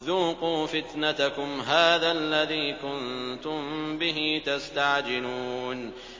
ذُوقُوا فِتْنَتَكُمْ هَٰذَا الَّذِي كُنتُم بِهِ تَسْتَعْجِلُونَ